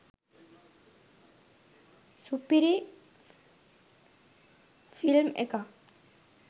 සුපිරි ෆිල්ම් එකක්